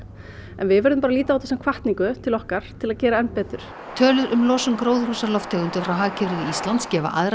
en við verðum bara að líta á þetta sem hvatningu til okkar til að gera enn betur tölur um losun gróðurhúsalofttegunda frá hagkerfi Íslands gefa aðra